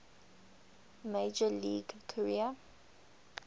major league career